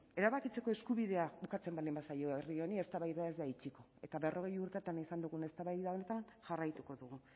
erabakitzeko eskubidea ukatzen baldin bazaio herri honi eztabaida ez da itxiko eta berrogei urteetan izan dugun eztabaida honetan jarraituko dugu